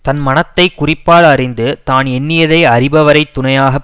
தன் மனத்தை குறிப்பால் அறிந்து தான் எண்ணியதை அறிபவரைத் துணையாக